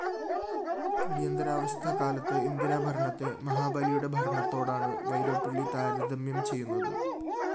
അടിയന്തരാവസ്ഥക്കാലത്തെ ഇന്ദിരാഭരണത്തെ മഹാബലിയുടെ ഭരണത്തോടാണ് വൈലോപ്പിള്ളി താരതമ്യം ചെയ്യുന്നത്